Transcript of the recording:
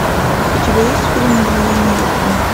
у тебя есть фильм мгновения любви